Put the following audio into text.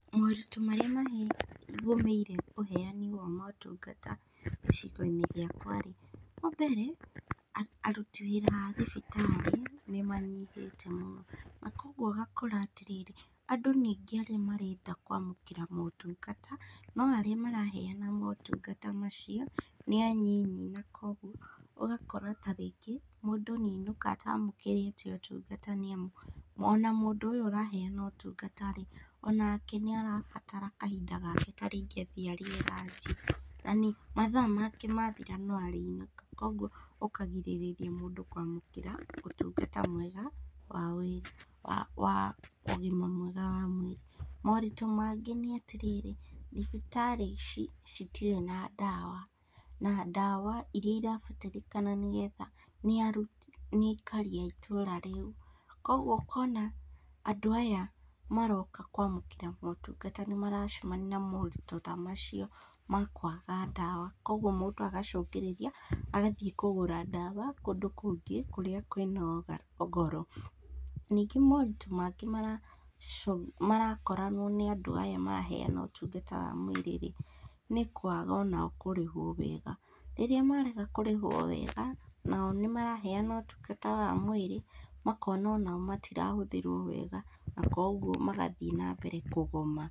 Moritũ marĩa mahi gũmĩire ũheani wa motungata gĩcigo-inĩ gĩakwa rĩ, wambere, aruti wĩra a thibitarĩ nĩmanyihĩte mũno, na koguo ũgakora atĩrĩrĩ, andũ nĩ aingĩ arĩa marenda kwamũkĩra motungata, no arĩa maraheana motungata macio nĩ anini, na koguo, ũgakora ta rĩngĩ mũndũ noĩainũka atamũkĩrĩte ũtungata nĩamu, ona mũndũ ũyũ ũraheana ũtungata rĩ, onake nĩarabatara kahinda gake ta rĩngĩ athiĩ arĩe ranji nani matha make mathira noarĩinũka koguo ũkagirĩrĩria mũndũ kwamũkĩra ũtungata mwega wa wĩ wa ũgima mwega wa mwĩrĩ, moritũ mangĩ nĩatĩrĩrĩ, thibitarĩ ici citirĩ na ndawa, na ndawa iria irabatarĩkana nĩgetha nĩaruti nĩ aikari a itũra rĩu, koguo ũkona andũ aya maroka kwamũkĩra motungata nĩmaracemania na moritũ ta macio ma kwaga ndawa, koguo mũndũ agacũthĩrĩria, agathiĩ kũgũra ndawa kũndũ kũngĩ kũrĩa kwĩna ũga goro, ningĩ moritũ mangĩ maracũ marakorwo na andũ aya maraheana ũtungata wa mwĩrĩ rĩ, nĩ kwaga onao kũrĩhwo wega, rĩrĩa marega kũrĩhwo wega, nao nĩmaraheana ũtungata wa mwĩrĩ, makona onao matirahũthĩrwo wega, na koguo magathiĩ nambere kũgoma.